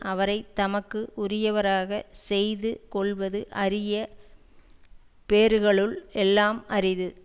அவரை தமக்கு உரியவராக செய்து கொள்வது அரிய பேறுகளுள் எல்லாம் அரிது